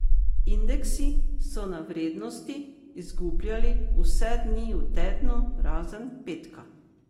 Indeksi so na vrednosti izgubljali vse dni v tednu, razen petka.